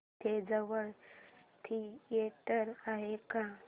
इथे जवळ थिएटर आहे का